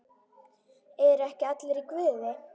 ERU EKKI ALLIR Í GUÐI?